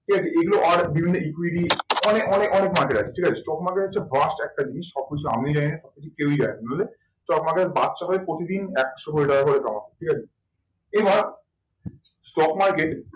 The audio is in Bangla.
ঠিক আছে এগুলো বিভিন্ন অনেক market আছে ঠিক আছে stock market হচ্ছে first একটা জিনিস সব কিছু আমিও জানি না সব কিছু কেউই জানে না stock market এর প্রতিদিন একশো কোটি টাকা করে কামায় ঠিক আছে। এবার stock market